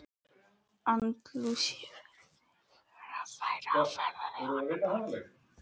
Andalúsíu fyrst við værum á ferðalagi á annað borð.